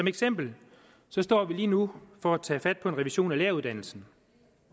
eksempel står vi lige nu for at tage fat på en revision af læreruddannelsen